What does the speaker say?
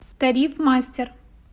тариф мастер